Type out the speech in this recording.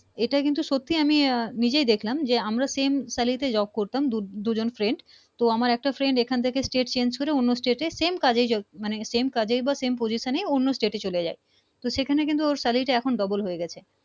এটা কিন্তু সত্যি আমি আহ নিজেই দেখলাম যে আমরা same salary job করতাম দু জন friend তো আমার একটা Friend এখান থেকে State change করে অন্য State same কাজে মানে same কাজে মানে same position অন্য state চলে যাই তো সেখানে কিন্তু ওর salaly double হয়ে গেছে